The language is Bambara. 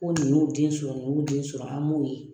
Ko nin y'u den sɔrɔ ni y'u den sɔrɔ an m'o ye.